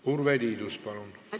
Urve Tiidus, palun!